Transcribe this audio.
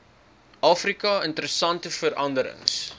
afrika interessante veranderings